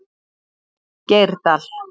Geirdal